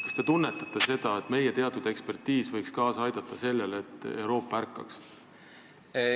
Kas te tunnetate seda, et meie ekspertiis võiks kaasa aidata sellele, et Euroopa ärkaks?